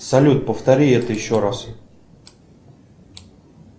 салют повтори это еще раз